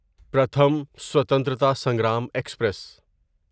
Pratham Swatantrata Sangram express